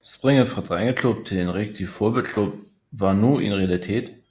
Springet fra drengeklub til en rigtig fodboldklub var nu en realitet